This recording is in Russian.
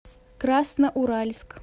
красноуральск